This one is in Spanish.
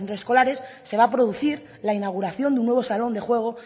de centros escolares se va a producir la inauguración de un nuevo salón de juego